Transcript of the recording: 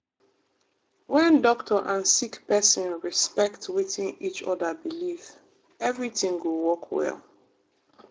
wen doctor and sick pesin respect wetin each oda believe everything go work well.